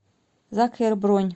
закхер бронь